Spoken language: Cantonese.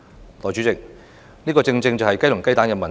代理主席，這正正是雞與雞蛋的問題。